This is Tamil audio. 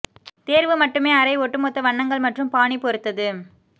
தேர்வு மட்டுமே அறை ஒட்டுமொத்த வண்ணங்கள் மற்றும் பாணி பொறுத்தது